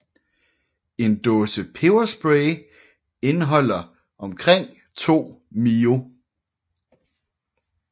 En dåse peberspray indeholder omkring 2 mio